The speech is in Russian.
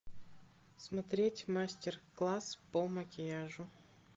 смотреть мастер класс по макияжу